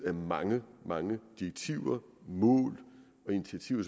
af mange mange direktiver mål og initiativer